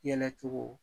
Yɛlɛ cogo